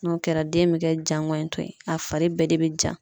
N'o kɛra den bɛ kɛ jangɔɲitɔ ye a fari bɛɛ de bɛ ja.